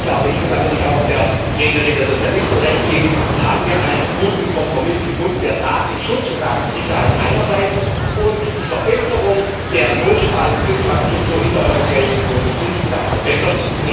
Damit glaube ich und da würde ich auch der Rednerin der Sozialisten Recht geben haben wir einen guten Kompromiss gefunden, der Datenschutz und Datensicherheit einerseits und die Verbesserung der Notfallinfrastruktur in der Europäischen Union insgesamt verbessert.